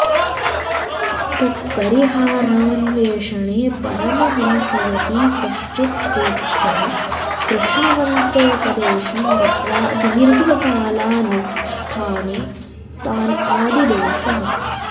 तत्परिहारान्वेषणे परमहंसयतिः कश्चित् तेभ्यः कृष्णमन्त्रोपदेशं दत्त्वा दीर्घकालानुष्ठाने तान् आदिदेश